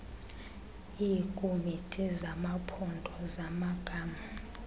iikomiti zamaphondo zamagama